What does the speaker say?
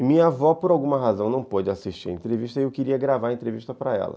E minha avó, por alguma razão, não pôde assistir a entrevista e eu queria gravar a entrevista para ela.